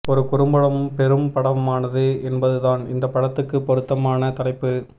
ஒரு குறும்படம் பெரும் படமானது என்பதுதான் இந்தப் படத்துக்கு பொருத்தமான தலைப்பு